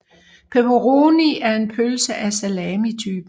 Pepperoni er en pølse af salamitypen